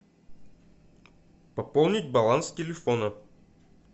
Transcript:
пополнить баланс телефона